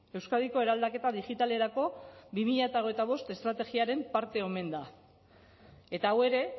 euskadiko eraldaketa digitalerako bi mila hogeita bost estrategiaren parte omen da eta hau ere